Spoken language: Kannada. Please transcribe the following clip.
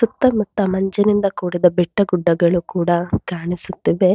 ಸುತ್ತಮುತ್ತ ಮಂಜಿನಿಂದ ಕೂಡಿದ ಬೆಟ್ಟ ಗುಡ್ಡಗಳು ಕೂಡ ಕಾಣಿಸುತ್ತಿವೆ.